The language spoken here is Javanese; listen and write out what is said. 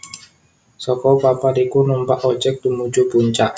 Saka papan iku numpak ojek tumuju puncak